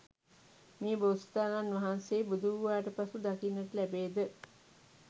මේ බෝසතාණන් වහන්සේ බුදු වූවාට පසු දකින්නට ලැබේද?